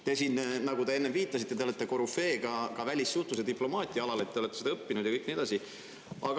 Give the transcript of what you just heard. Te olete, nagu enne viitasite, korüfee ka välissuhtluse ja diplomaatia alal, te olete seda õppinud ja nii edasi.